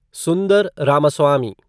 सुन्दर रामास्वामी